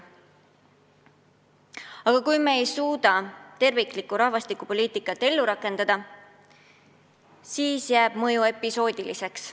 Samas, kui me ei suuda terviklikku rahvastikupoliitikat ellu rakendada, siis jääb dokumendi mõju episoodiliseks.